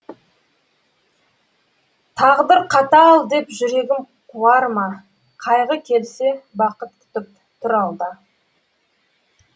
тағдыр қатал деп жүрегім қуарма қайғы келсе бақыт күтіп тұр алда